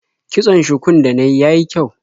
Kitson shukun da na yi ya yi kyau.